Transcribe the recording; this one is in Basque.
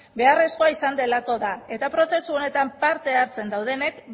beharrezkoa izan delako da eta prozesu honetan parte hartzen daudenek